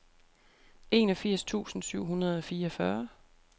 enogfirs tusind syv hundrede og fireogfyrre